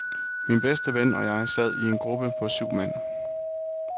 Min bedste ven og jeg sad i en gruppe på syv mand.